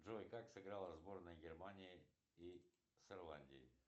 джой как сыграла сборная германии и с ирландией